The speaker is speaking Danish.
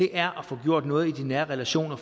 er at få gjort noget i de nære relationer